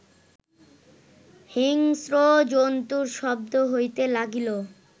হিংস্র জন্তুর শব্দ হইতে লাগিল